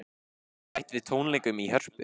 Bætt við tónleikum í Hörpu